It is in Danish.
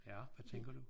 Ja. Hvad tænker du?